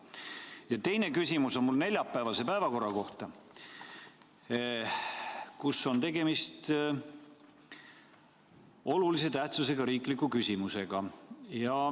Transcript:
Ja teine küsimus on mul neljapäevase päevakorra kohta, kus on tegemist olulise tähtsusega riikliku küsimusega.